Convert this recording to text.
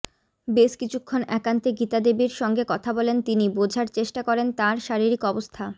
বেশ কিছুক্ষন একান্তে গীতাদেবীর সঙ্গে কথা বলেন তিনি বোঝার চেষ্টা করেন তাঁর শারীরিক অবস্থা